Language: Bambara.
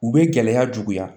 U bɛ gɛlɛya juguya